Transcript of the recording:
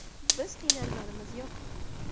Biz qiynalganimiz yo‘q”.